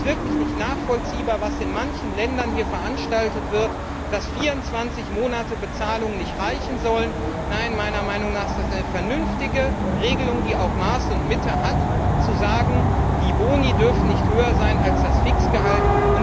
Es ist wirklich nicht nachvollziehbar, was in manchen Ländern hier veranstaltet wird, dass 24 Monate Bezahlung nicht reichen sollen. Nein, meiner Meinung nach ist es eine vernünftige Regelung, die auch Maß und Mitte hat, zu sagen, die Boni dürfen nicht höher sein als das Fixgehalt.